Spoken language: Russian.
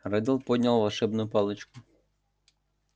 реддл поднял волшебную палочку